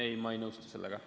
Ei, ma ei nõustu sellega.